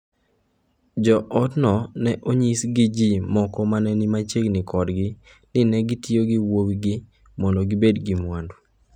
Jo otno ne onyisi gi ji moko ma ne ni machiegni kodgi ni ne gitiyo gi wuowigi mondo gibed gi mwandu.